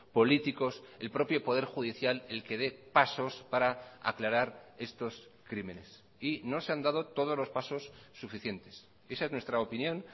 políticos el propio poder judicial el que dé pasos para aclarar estos crímenes y no se han dado todos los pasos suficientes esa es nuestra opinión